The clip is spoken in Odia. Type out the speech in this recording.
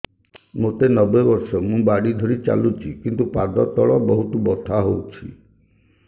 ମୋତେ ନବେ ବର୍ଷ ମୁ ବାଡ଼ି ଧରି ଚାଲୁଚି କିନ୍ତୁ ପାଦ ତଳ ବହୁତ ବଥା ହଉଛି